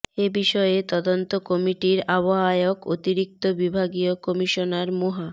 এ বিষয়ে তদন্ত কমিটির আহ্বায়ক অতিরিক্ত বিভাগীয় কমিশনার মোহা